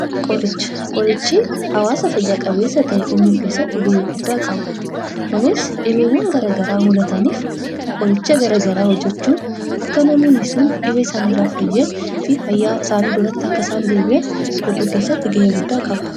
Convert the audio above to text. Qorichi hawaasa fayya qabeessa ta'e uumuu keessatti gahee ol'aanaa qaba. kunis dhibeewwaan garagaraa uummamaniif qoricha garagaraa qopheessuun akka namoonni dhibee isaanii irraa fayyanii fi haala issanii duraatti akka deebi'aniif gahee guddaa qaba.